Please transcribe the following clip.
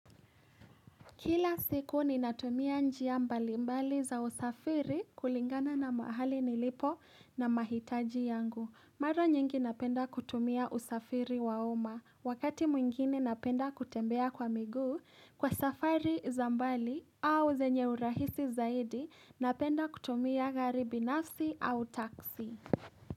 Kila siku ni natumia njia mbali mbali za usafiri kulingana na mahali nilipo na mahitaji yangu. Mara nyingi napenda kutumia usafiri wa uma. Wakati mwingine napenda kutembea kwa miguu, kwa safari za mbali au zenye urahisi zaidi, napenda kutumia gari binafsi au taksi.